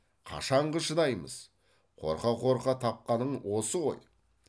қашанғы шыдаймыз қорқа қорқа тапқаның осы ғой